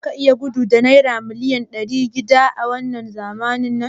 Zaka iya gudu da naira miliyan ɗari shida a zamanin labarin nan?